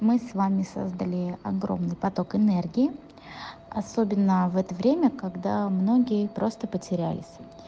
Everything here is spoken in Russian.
мы с вами создали огромный поток энергии особенно в это время когда многие просто потерялись